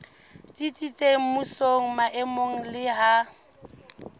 tsitsitseng mmusong maemong le ha